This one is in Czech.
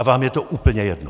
A vám je to úplně jedno!